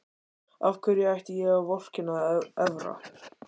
Af hverju ætti ég að vorkenna Evra?